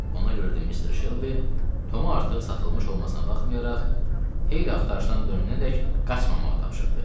Ona görə də mister Şelbi Tomu artıq satılmış olmasına baxmayaraq, Heyli axtarışdan dönənədək qaçmamağı tapşırdı.